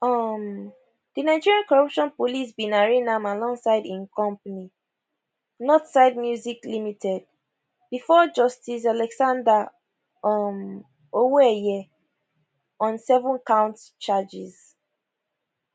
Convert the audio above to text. um di nigerian corruption police bin arraign am alongside im company northside music ltd bifor justice alexander um owoeye on sevencount charges